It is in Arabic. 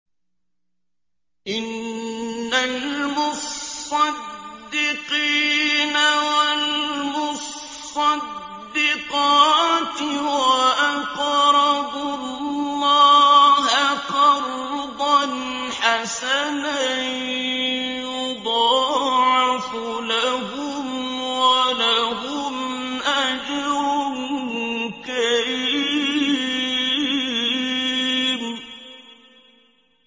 إِنَّ الْمُصَّدِّقِينَ وَالْمُصَّدِّقَاتِ وَأَقْرَضُوا اللَّهَ قَرْضًا حَسَنًا يُضَاعَفُ لَهُمْ وَلَهُمْ أَجْرٌ كَرِيمٌ